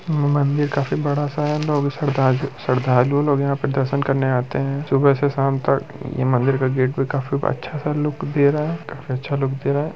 यह मंदिर काफी बड़ा सा है। लोग इस पर श्रद्धा-श्रद्धालु लोग यहाँ पर दर्शन करने आते है। सुबहे से शाम तक ये मंदिर का गेट भी काफी अच्छा सा लुक दे रहा है काफी अच्छा लुक दे रहा है।